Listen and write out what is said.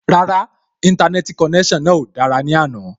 Rárá, Íńtánẹ́ẹ̀tì konẹ́sàn náà ò dára ní àná